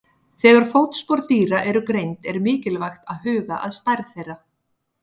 Þegar fótspor dýra eru greind er mikilvægt að huga að stærð þeirra.